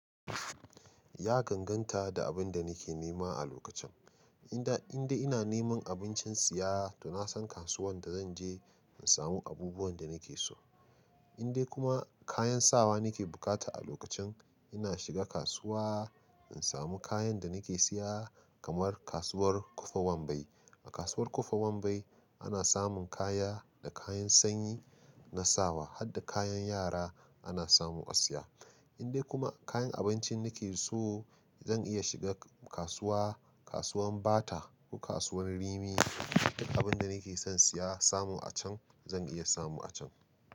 Ya ganganta da abin da nake nema a lokacin. In da, in dai ina neman abincin siya, to na san kasuwan da zan je in samu abubuwan da nake so. In dai kuma kayan sawa nake bukata a lokacin, ina shiga kasuwa in samu kayan da nake siya kamar kasuwar Ƙofar Wambai. A kasuwar Ƙofar Wambai ana samun kaya da kayan sanyi na sawa har da kayan yara ana samu a siya. In dai kuma kayan abinci nake so zan iya shiga kasuwa, kasuwan Bata ko kasuwan Rimi. Duk abin da nake son siya samu a can zan iya samu a can.